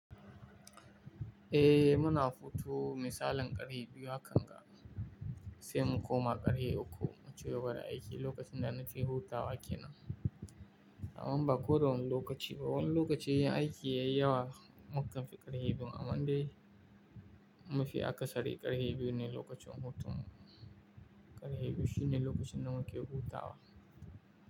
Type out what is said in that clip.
Eh, muna hutu misalin ƙarhe biyu hakan ga sai mu koma ƙarhe uku mu cigaba da aiki lokacin da na ce hutawa ke nan. Amma ba ko da wani lokaci ba, wani lokaci in aiki ya yi yawa mukan fi ƙarhe biyu amma dai mafi akasari ƙarhe biyu ne lokacin hutun ƙarhe biyu shine lokacin da muke hutawa.